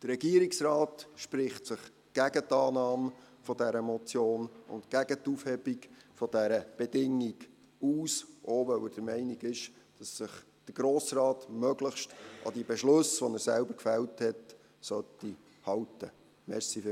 Der Regierungsrat spricht sich gegen die Annahme dieser Motion und gegen die Aufhebung dieser Bedingung aus, auch weil er der Meinung ist, dass sich der Grosse Rat möglichst an die Beschlüsse, die er selber gefällt hat, halten sollte.